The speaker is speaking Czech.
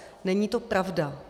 Není to pravda.